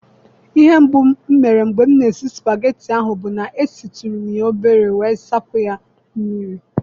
Ihe mbụ m mere mgbe m na-esi spageti ahụ bụ na-esitụrụ m ya obere wee zapụ ya mmiri.